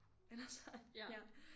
Eller så ja